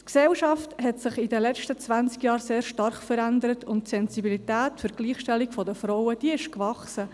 In den letzten zwanzig Jahren hat sich die Gesellschaft sehr stark verändert, und die Sensibilität für die Gleichstellung der Frauen ist gewachsen.